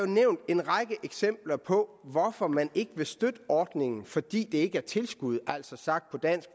nævnt en række eksempler på hvorfor man ikke vil støtte ordningen fordi det ikke er tilskud altså sagt på